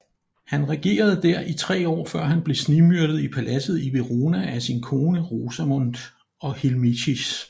Han regerede der i tre år før han blev snigmyrdet i paladset i Verona af sin kone Rosamond og Hilmichis